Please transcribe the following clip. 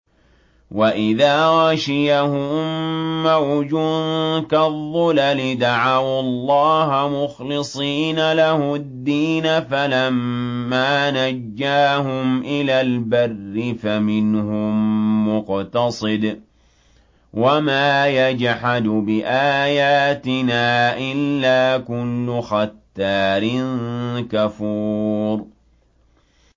وَإِذَا غَشِيَهُم مَّوْجٌ كَالظُّلَلِ دَعَوُا اللَّهَ مُخْلِصِينَ لَهُ الدِّينَ فَلَمَّا نَجَّاهُمْ إِلَى الْبَرِّ فَمِنْهُم مُّقْتَصِدٌ ۚ وَمَا يَجْحَدُ بِآيَاتِنَا إِلَّا كُلُّ خَتَّارٍ كَفُورٍ